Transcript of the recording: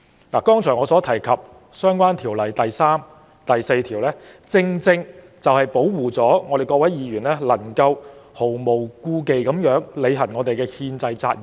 我剛才提到的《條例》第3條及第4條，保護各位議員毫無顧忌地履行憲制責任。